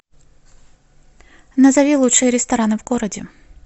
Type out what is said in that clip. назови лучшие рестораны в городе